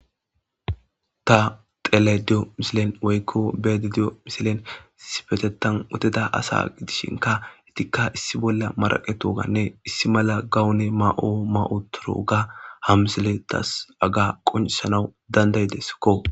ta tele diyo misilen woykko beede diyo misilen sifetetan woteda asa gidishinka itikka issi bolla maraqetooganne issi mala gawune ma7o ma7o turo ga ham isele tas aga qoncesanawu danday desakko